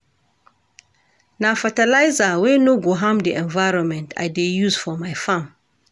Na fertilizer wey no go harm di environment I dey use for my farm.